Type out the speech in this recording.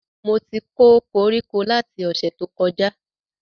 Mo ti kó koríko lati ọ̀sẹ̀ tó kọjá